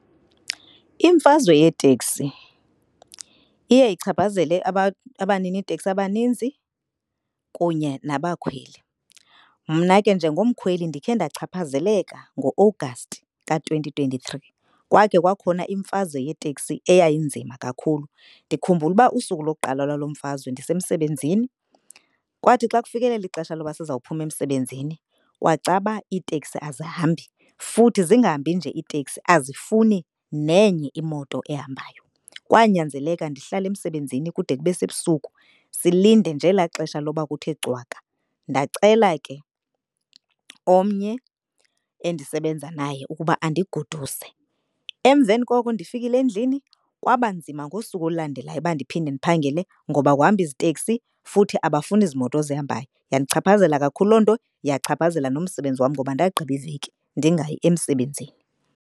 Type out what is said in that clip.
Imfazwe yeteksi iye ichaphazele abaniniteksi abaninzi kunye nabakhweli. Mna ke njengomkhweli ndikhe ndachaphazeleka ngo-August ka-twenty twenty-three. Kwakhe kwakhona imfazwe yeteksi eyayinzima kakhulu. Ndikhumbula uba usuku lokuqala lwalo mfazwe ndisemsebenzini kwathi xa kufikelela ixesha loba sizawuphuma emsebenzini kwacaba iiteksi azihambi futhi zingahambi nje iitekisi azifuni nenye imoto ehambayo. Kwanyanzeleka ndihlale emsebenzini kude kube sebusuku, silinde nje elaa xesha loba kuthe cwaka ndacela ke omnye endisebenza naye ukuba andigoduse. Emveni koko ndifikile endlini kwaba nzima ngosuku olulandelayo uba ndiphinde ndiphangele ngoba akuhambi ziteksi, futhi abafuni ziimoto zihambayo. Yandichaphazela kakhulu loo nto yachaphazela nomsebenzi wam ngoba ndagqiba iveki ndingayi emsebenzini.